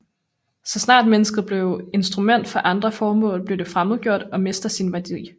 Så snart mennesket bliver instrument for andre formål bliver det fremmedgjort og mister sin værdighed